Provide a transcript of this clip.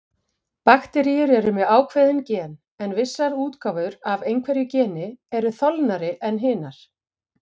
Bakteríur með ákveðin gen, eða vissar útgáfur af einhverju geni, eru þolnari en hinar.